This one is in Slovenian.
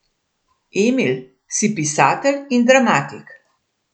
Emil, si pisatelj in dramatik.